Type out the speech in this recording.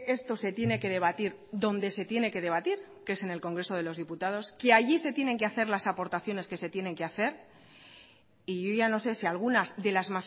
esto se tiene que debatir donde se tiene que debatir que es en el congreso de los diputados que allí se tienen que hacer las aportaciones que se tienen que hacer y yo ya no sé si algunas de las